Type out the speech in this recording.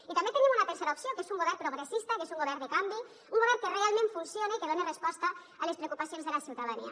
i també tenim una tercera opció que és un govern progressista que és un govern de canvi un govern que realment funcione i que done resposta a les preocupacions de la ciutadania